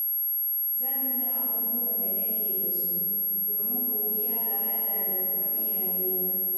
Zan tuna abubuwan da nake da su, domin godiya ga Allah da kuma iyayena.